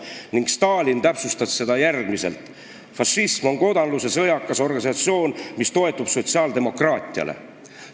" Ning Stalin täpsustas seda järgmiselt: "Fašism on kodanluse sõjakas organisatsioon, mis toetub sotsiaaldemokraatiale.